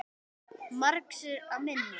Margs er að minnast